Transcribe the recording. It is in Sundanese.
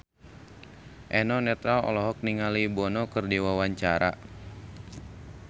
Eno Netral olohok ningali Bono keur diwawancara